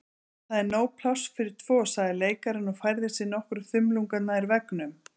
Það er nóg pláss fyrir tvo sagði leikarinn og færði sig nokkra þumlunga nær veggnum.